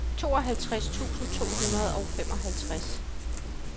tooghalvtreds tusind to hundrede og femoghalvtreds